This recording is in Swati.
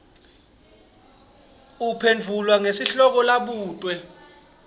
uphendvula ngesihloko labutwe